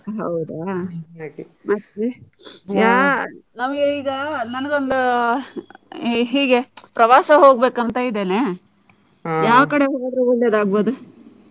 ಹೌದಾ! ಹಾಗೆ. ಮತ್ತೆ ಈಗ ನನ್ಗೊಂದು ಈಗ ಹೀಗೆ ಪ್ರವಾಸಕ್ಕೆ ಹೋಗ್ಬೇಕು ಅಂತ ಇದ್ದೇನೆ ಯಾವ್ ಕಡೆ ಹೋದ್ರೆ ಒಳ್ಳೆದಾಗ್ಬೋದು?